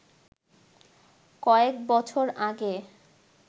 কয়েক বছর আগে